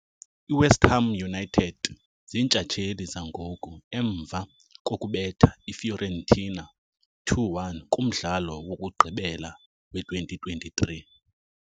I-West Ham United ziintshatsheli zangoku, emva kokubetha i-Fiorentina 2-1 kumdlalo wokugqibela we-2023.